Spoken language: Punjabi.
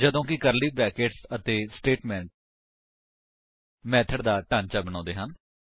ਜਦੋਂ ਕਿ ਕਰਲੀ ਬਰੈਕੇਟਸ ਅਤੇ ਸਟੇਟਮੇਂਟਸ ਮੇਥਡ ਦਾ ਢਾਂਚਾ ਬਣਾਉਂਦੇ ਹਨ